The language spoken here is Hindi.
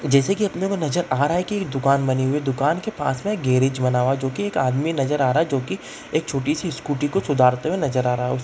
जैसे की अपने को नजर आ रहा है की एक दुकान बनी हुई है दुकान के पास मे एक गैरेज बना हुआ है जो की एक आदमी नजर आ रहा है जो की एक छोटी सी स्कूटी को सुधारते हुवे नज़र आ रहा है उस--